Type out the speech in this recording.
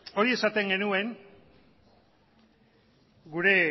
hori esaten genuen gure